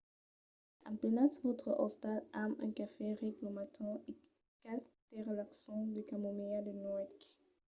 emplenatz vòstre ostal amb un cafè ric lo matin e qualque tè relaxant de camomilha de nuèch